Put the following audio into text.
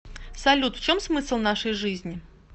салют в чем смысл нашей жизни